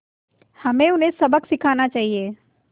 हमें उन्हें सबक सिखाना चाहिए